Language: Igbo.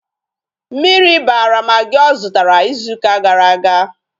Mmiri bara magị ọ zụtara ịzụ ụka gara aga